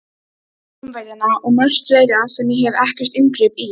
Rómverjana og margt fleira sem ég hef ekkert inngrip í.